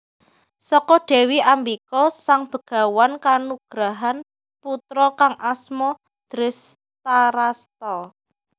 Saka Dewi Ambika Sang Begawan kanugrahan putra kang asma Drestharasta